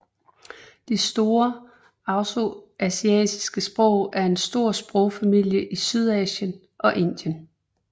De austroasiatiske sprog er en stor sprogfamilie i Sydøstasien og Indien